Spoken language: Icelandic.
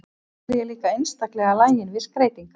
Svo er ég líka einstaklega lagin við skreytingar.